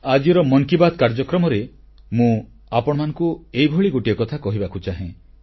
ଆଜିର ମନ କି ବାତ୍ କାର୍ଯ୍ୟକ୍ରମରେ ମୁଁ ଆପଣମାନଙ୍କୁ ଏହିଭଳି ଗୋଟିଏ କଥା କହିବାକୁ ଚାହେଁ